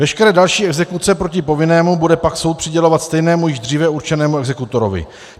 Veškeré další exekuce proti povinnému bude pak soud přidělovat stejnému, již dříve určenému exekutorovi.